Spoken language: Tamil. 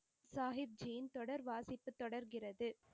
சாஹிப் ஜி யின் தொடர் வாசிப்பு தொடர்கிறது.